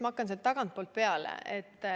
Ma hakkan tagantpoolt peale.